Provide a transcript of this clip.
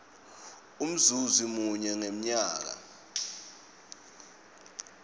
umzuzi munye ngemnyaka